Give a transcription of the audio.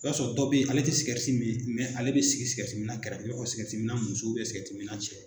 I b'a sɔrɔ dɔ bɛ ye ale tɛ sikɛriti min ale bɛ sikɛriti minna kɛfɛ i b'a fɔ sikɛriti minna muso sikɛriti minna cɛ.